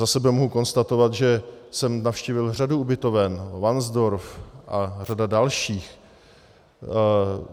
Za sebe mohu konstatovat, že jsem navštívil řadu ubytoven - Varnsdorf a řadu dalších.